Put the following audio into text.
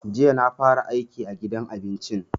Jiya na fara aiki a gidan abincin.